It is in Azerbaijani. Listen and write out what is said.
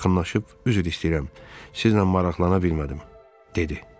Yaxınlaşıb üzr istəyirəm, sizinlə maraqlana bilmədim, dedi.